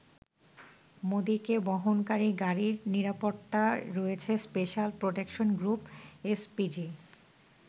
মোদিকে বহনকারী গাড়ির নিরাপত্তায় রয়েছে স্পেশাল প্রটেকশন গ্রুপ এসপিজি ।